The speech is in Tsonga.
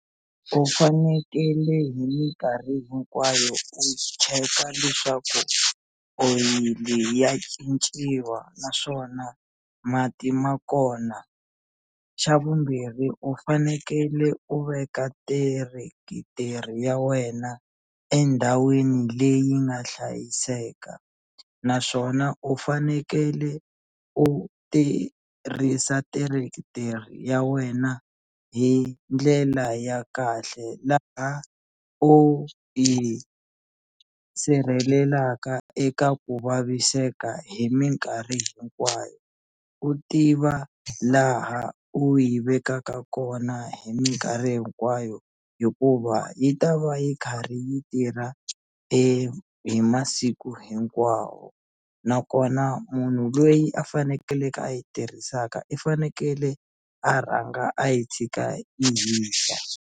U fanekele hi minkarhi hinkwayo u cheka leswaku oyili ya cinciwa naswona mati ma kona xa vumbirhi u fanekele u veka tirekiteri ya wena endhawini leyi nga hlayiseka naswona u fanekele u tirhisa tirekiteri ya wena hi ndlela ya kahle laha u yi sirhelelaka eka ku vaviseka hi minkarhi hinkwayo u tiva laha u yi vekaka kona hi minkarhi hinkwayo hikuva yi ta va yi karhi yi tirha e hi masiku hinkwawo nakona munhu loyi a fanekeleke a yi tirhisaka i fanekele a rhanga a yi tshika yi hisa.